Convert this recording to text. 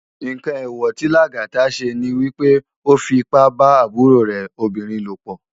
Nkán éwò ti Lagata sé ni wipé ó fi ipá bá àbúró rè óbirin lópò